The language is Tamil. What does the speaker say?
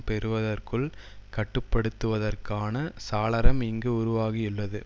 பெறுவதற்குள் கட்டு படுத்துவதற்கான சாளரம் இங்கு உருவாகியுள்ளது